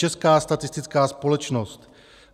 Česká statistická společnost.